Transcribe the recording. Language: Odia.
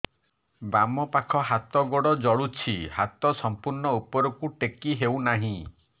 ବାମପାଖ ହାତ ଗୋଡ଼ ଜଳୁଛି ହାତ ସଂପୂର୍ଣ୍ଣ ଉପରକୁ ଟେକି ହେଉନାହିଁ